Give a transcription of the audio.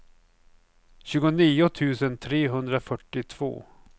tjugonio tusen trehundrafyrtiotvå